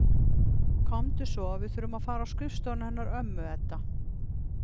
Komdu við þurfum að fara á skrifstofuna hennar ömmu Eddu.